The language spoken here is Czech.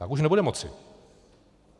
Tak už nebudeme moci.